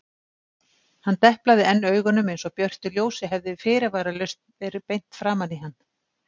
Hann deplaði enn augunum einsog björtu ljósi hefði fyrirvaralaust verið beint framan í hann.